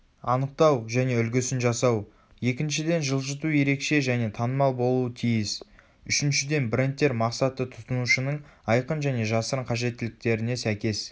анықтау және үлгісін жасау екіншіден жылжыту ерекше және танымал болуы тиіс үшіншіден брендтер мақсатты тұтынушының айқын және жасырын қажеттіліктеріне сәйкес